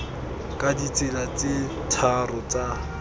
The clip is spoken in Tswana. ka ditsela tse tharo tsa